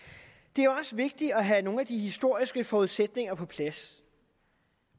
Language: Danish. det er også vigtigt at have nogle af de historiske forudsætninger på plads